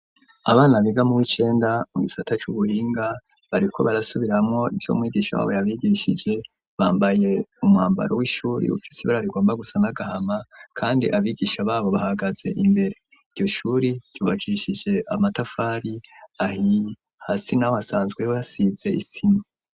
Abana biga mu w'icenda mu gisata c'ubuhinga bariko barasubiramwo ivyo mwigisha wabo yabigishije bambaye umwambaro w'ishuri ufise ibara rigomba gusa n'agahama kandi abigisha babo bahagaze imbere, iryo shuri ryubakishije amatafari ahiye hasi hasanzwe ho hasize isima.